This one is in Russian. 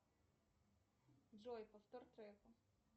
джой повтор трека